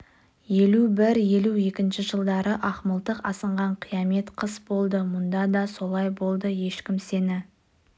елу бір елу екінші жылдары ақмылтық асынған қиямет қыс болды мұнда да солай болды ешкім сені